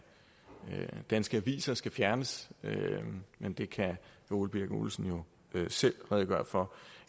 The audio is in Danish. danske aviser skal fjernes men det kan herre ole birk olesen jo selv redegøre for